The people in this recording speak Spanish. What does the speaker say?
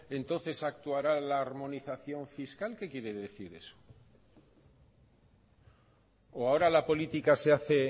entonces actuará la armonización fiscal qué quiere decir eso o ahora la política se hace